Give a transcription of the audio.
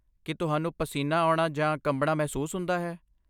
ਕੀ ਤੁਹਾਨੂੰ ਪਸੀਨਾ ਆਉਣਾ ਜਾਂ ਕੰਬਣਾ ਮਹਿਸੂਸ ਹੁੰਦਾ ਹੈ?